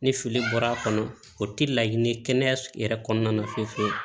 Ni fili bɔr'a kɔnɔ o tɛ laɲini kɛnɛya yɛrɛ kɔnɔna na fewu fewu